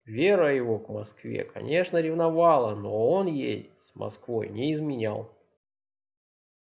вера его к москве конечно ревновала но он ей с москвой не изменял